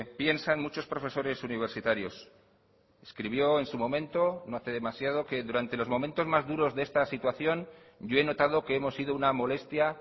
piensan muchos profesores universitarios escribió en su momento no hace demasiado que durante los momentos más duros de esta situación yo he notado que hemos sido una molestia